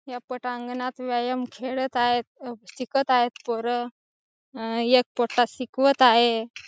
ह्या पटांगणात व्यायाम खेळत आहेत अ शिकत आहेत पोरं. अ एक पोट्ठा शिकवत आहे.